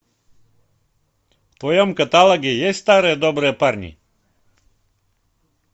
в твоем каталоге есть старые добрые парни